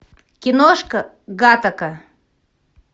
киношка гаттака